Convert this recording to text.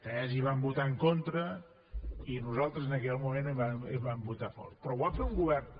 tès hi van votar en contra i nosaltres en aquell moment hi vam votar a favor però ho va fer un govern